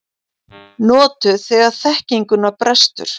Notuð þegar þekkinguna brestur.